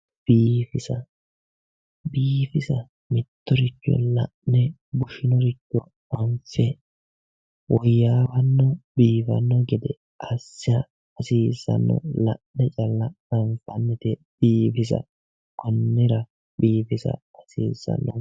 Biifisa. Biifisa mittoricho la'ne bushinoricho hanise woyaawanna biifanno gede assa hasiisanno gede la'ne calla anifannite biifisa konnira biifisa hasiisano